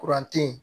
Kuran te ye